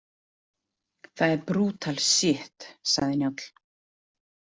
Það er brútal sjitt, sagði Njáll.